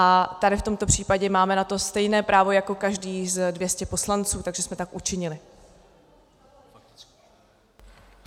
A tady v tomto případě máme na to stejné právo jako každý z 200 poslanců, takže jsme tak učinili.